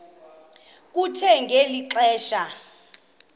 kuthe ngeli xesha